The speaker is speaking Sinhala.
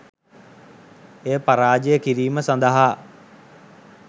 එය පරාජය කිරිම සඳහා